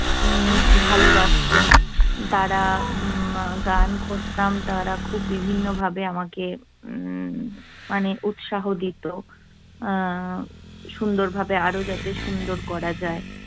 উম ভালবাসত। তারা গান করতাম, তারা খুব বিভিন্নভাবে আমাকে উম মানে উৎসাহ দিত। আহ সুন্দরভাবে আরও যাতে সুন্দর করা যায়